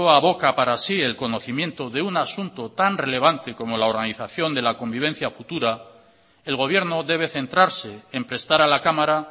aboca para sí el conocimiento de un asunto tan relevante como la organización de la convivencia futura el gobierno debe centrarse en prestar a la cámara